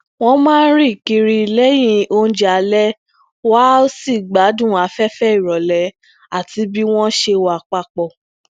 wón máa ń rìn kiri lẹyin ounjẹ alẹ wọn á sì gbádùn afẹfẹ irọlẹ àti bi wọn ṣe wa papọ